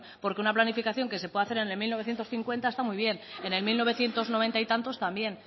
porque una planificación que se pueda hacer en mil novecientos cincuenta está muy bien en el mil novecientos noventa y tantos también